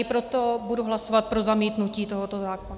I proto budu hlasovat pro zamítnutí tohoto zákona.